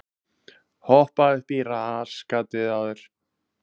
Svipaða sögu er að segja af menntamálum.